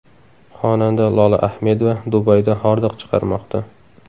Xonanda Lola Ahmedova Dubayda hordiq chiqarmoqda.